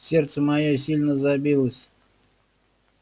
сердце моё сильно забилось